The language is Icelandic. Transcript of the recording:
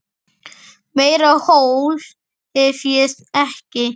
Meira hól hef ég ekki.